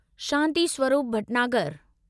Shanti Swarup Bhatnagar